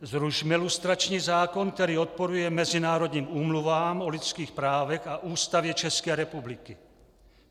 Zrušme lustrační zákon, který odporuje mezinárodním úmluvám o lidských právech a Ústavě České republiky.